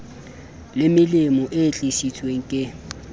le melemo e tlisitsweng ke